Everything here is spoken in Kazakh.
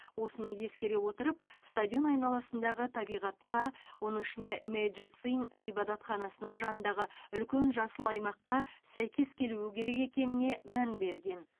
осыны ескере отырып стадион айналасындағы табиғатқа оның ішінде мэйджи цинь ғибадатханасының жанындағы үлкен жасыл аймаққа сәйкес келуі керек екеніне мән берген